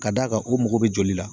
Ka d'a kan u mago bɛ joli la.